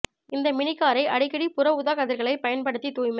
இந்த மினி காரை அடிக்கடி புற ஊதாக் கதிர்களைப் பயன்படுத்தி தூய்மைப்